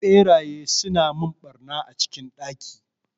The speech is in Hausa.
Ɓeraye suna mun ɓarna a cikin ɗaki